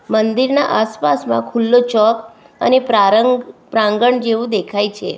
મંદિરના આસપાસ માં ખુલ્લો ચોક અને પ્રારંગ પ્રાંગણ જેવું દેખાય છે.